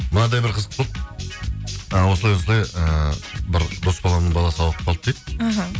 мынадай бір қызық болды ы осылай осылай ыыы бір дос баламның баласы ауырып қалды дейді іхі